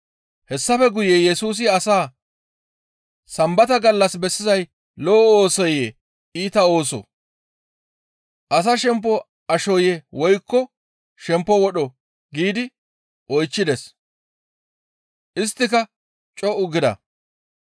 Hessafe guye Yesusi asaa, «Sambata gallas bessizay lo7o oosoyee? Iita oosoo? Asa shempo ashoyee? Woykko shempo wodhoo?» giidi oychchides. Isttika co7u gida.